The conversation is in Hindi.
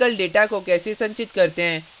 और numerical data को कैसे संचित करते हैं